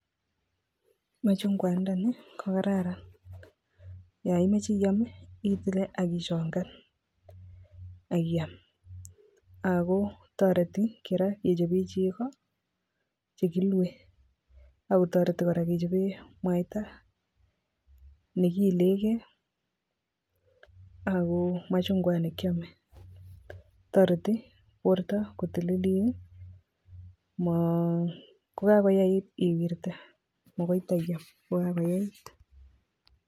Machungwandanii, kokararan, yaimeche iam, itile akichongan, akiam. Ago toreti kora, kechope chego, che kilue, agotoreti kora kechope mwaita ne kiiligei, ago machungwat ne kiame. Toreti kora borto kotililit, ma[um] kogagoyait iwirte, magoi taiyam kogagoyait.